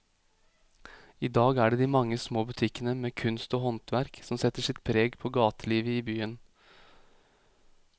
I dag er det de mange små butikkene med kunst og håndverk som setter sitt preg på gatelivet i byen.